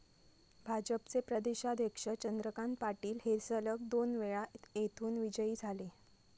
भाजपचे प्रदेशाध्यक्ष चंद्रकांत पाटील हे सलग दोनवेळा येथून विजयी झाले.